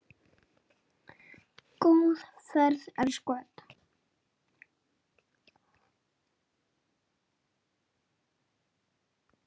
Góða ferð, elsku Edda.